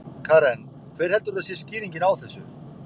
Karen: Hver heldurðu að skýringin sé á þessu?